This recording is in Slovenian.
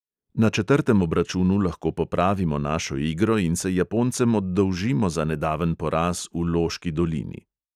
Na četrtem obračunu lahko popravimo našo igro in se japoncem oddolžimo za nedaven poraz v loški dolini.